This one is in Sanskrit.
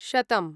शतम्